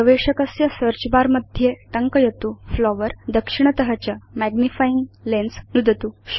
गवेषकस्य search bar मध्ये टङ्कयतु flowers दक्षिणत च मैग्निफाइंग लेन्स् नुदतु